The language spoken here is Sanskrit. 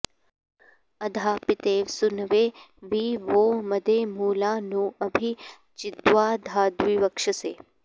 अधा॑ पि॒तेव॑ सू॒नवे॒ वि वो॒ मदे॑ मृ॒ळा नो॑ अ॒भि चि॑द्व॒धाद्विव॑क्षसे